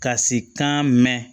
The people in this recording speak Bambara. Ka se kan mɛn